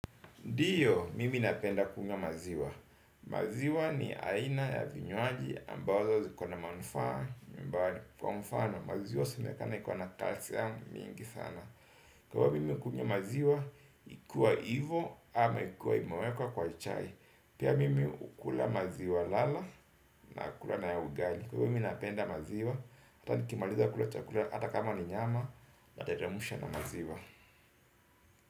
Ndio, mimi napenda kunywa maziwa. Maziwa ni aina ya vinywaji ambazo ziko na manufaa. Mbali, kwa mfano, maziwa inasemekana iko na calcium mingi sana. Kwa mimi kunywa maziwa, ikuwa ivyo ama ikuwe ime wekwa kwa chai. Pia mimi hukula maziwa lala na ukula na ugali. Mimi napenda maziwa, hata nikimaliza kula chakula, hata kama ni nyama, nateremsha na maziwa.